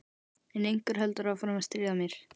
En einhver heldur áfram að stríða mér